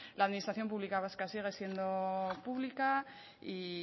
la administración pública vasca sigue siendo pública y